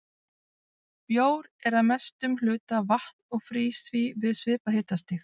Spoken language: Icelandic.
Bjór er að mestum hluta vatn og frýs því við svipað hitastig.